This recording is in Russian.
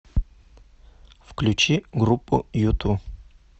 включи группу юту